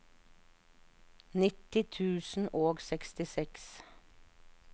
nitti tusen og sekstiseks